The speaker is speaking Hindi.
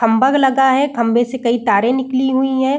खंभा लगा है खंभे से कई तारे निकली हुई है।